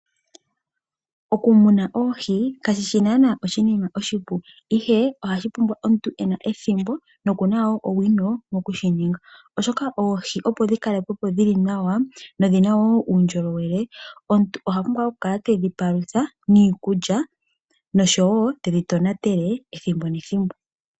Okumuna oohi kashishi nana oshinima oshipu ihe ohashipumbwa omuntu ena ethimbo nokuna owino okushininga oshoka oohi opo dhikalekwepo dhili nawa dho dhina wo uundjolowele omuntu oha pumbwa okukala tedhi palutha niikulya noshowo tedhi tonatele ethimbo nethimbo.